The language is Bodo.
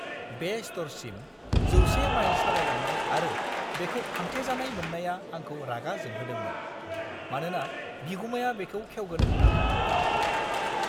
बे स्ट'रसिम 100 माइल सालायलांनायआरो बेखौ फांथेजानाय मोननाया आंखौ रागा जोंहोदोंमोन, मानोना बिगुमाया बेखौ खेवगोन होन्ना बुंदोंमोन!